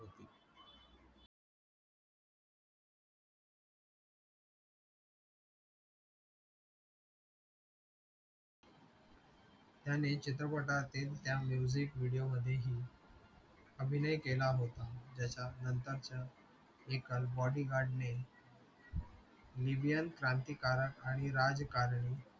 याने चित्रपटतील त्या music video मध्येही अभिनय केला होता ज्याच्या नंतरच्या एका bodygurad ने क्रांतिकारक आणि राजकारणी